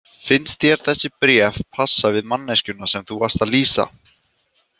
Finnst þér þessi bréf passa við manneskjuna sem þú varst að lýsa?